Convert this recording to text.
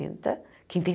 quem tem